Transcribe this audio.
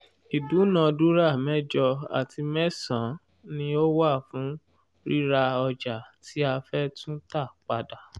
ìdúnàádúrà mẹ́jọ àti mẹ́sàn-án ni ó wà fún ríra ọjà tí a fẹ́ tún tà padà.